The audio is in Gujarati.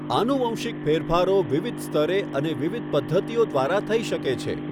આનુવંશિક ફેરફારો વિવિધ સ્તરે અને વિવિધ પદ્ધતિઓ દ્વારા થઈ શકે છે.